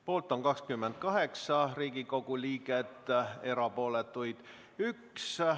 Poolt on 28 Riigikogu liiget ja erapooletuks jäi 1.